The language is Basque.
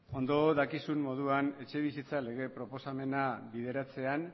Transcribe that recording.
ondo dakizun moduan etxebizitza lege proposamena bideratzean